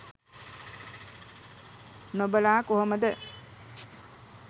නොබලා කොහොමද.